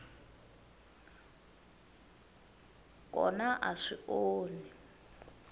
n kona a swi onhi